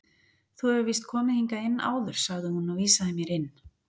Þú hefur víst komið hingað inn áður sagði hún og vísaði mér inn.